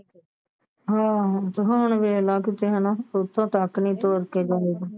ਹਾ ਤੇ ਹੁਣ ਵੇਖਲਾ ਕਿਤੇ ਹੇਨਾ ਉਥੇ ਤੱਕ ਨਹੀਂ ਤੁਰ ਕੇ ਜਾਇਆ ਜਾਂਦਾ